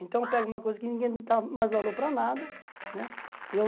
Então eu pego uma coisa que ninguém dá mais valor para nada, né eu...